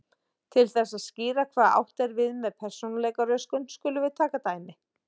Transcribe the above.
Til þess að skýra hvað átt er við með persónuleikaröskun skulum við taka dæmi.